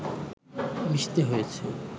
মিশতে হয়েছে